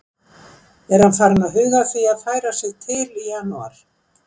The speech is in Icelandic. Er hann farinn að huga að því að færa sig til í janúar?